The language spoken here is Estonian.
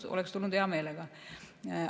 Kui oleks kutsutud, oleksin tulnud hea meelega.